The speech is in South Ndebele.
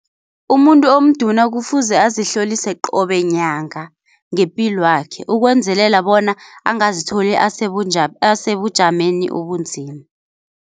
Umuntu omduna kufuze azihlolise qobe nyanga ngepilwakhe ukwenzelela bona angazitholi asebujameni obunzima.